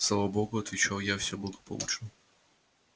слава богу отвечал я все благополучно